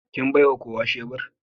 Kin baiwa kowa shebur?